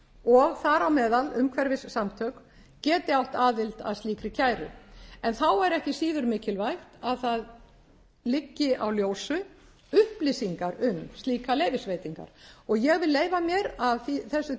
og þar á meðal umhverfissamtök geti átt aðild að slíkri kæru en þá er ekki síður mikilvægt að það liggi á ljósu upplýsingar um slíkar leyfisveitingar og ég vil leyfa mér af þessu